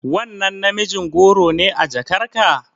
Wannan namijin goro ne a jakarka?